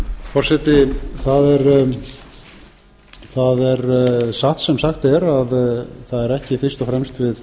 forseti það er sagt sem sagt er að það er ekki fyrst og fremst við